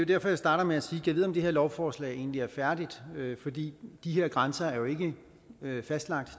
derfor jeg starter med at sige gad vide om det her lovforslag egentlig er færdigt for de her grænser er jo ikke fastlagt og